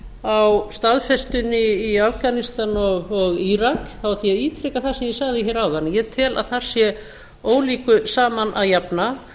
á staðfestunni í afganistan og írak ætla ég að ítreka það sem ég sagði hér áðan að ég tel að þar sé ólíku saman að jafna